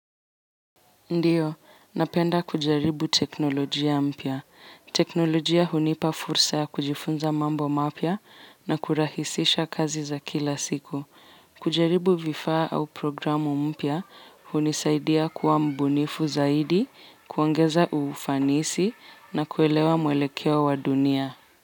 Ndiyo, napenda kujaribu teknolojia mpya. Teknolojia hunipa fursa ya kujifunza mambo mapya na kurahisisha kazi za kila siku. Kujaribu vifaa au programu mpya hunisaidia kuwa mbunifu zaidi, kuongeza ufanisi na kuelewa mwelekia wa dunia.